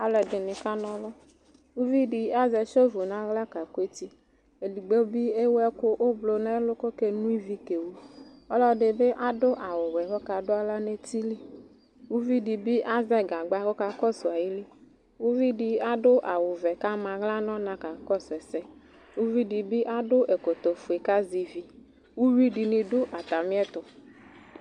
Alʋɛdɩnɩ kana ɔlʋ Uvi dɩ azɛ sevo nʋ aɣla kakʋ eti, edigbo bɩ ewu ɛkʋ ʋblɔ nʋ ɛlʋ kʋ ɔkeno ivi kewu Ɔlɔdɩ bɩ adʋ awʋwɛ kʋ ɔkadʋ aɣla nʋ eti li Uvi dɩ bɩ azɛ gagba kʋ ɔkakɔsʋ ayili Uvi dɩ adʋ awʋvɛ kʋ ama aɣla nʋ ɔna kakɔsʋ ɛsɛ Uvi dɩ bɩ adʋ ɛkɔtɔfue kʋ azɛ ivi Uyui dɩnɩ dʋ atamɩɛtʋ